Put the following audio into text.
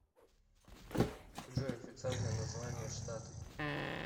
джой официальное название штаты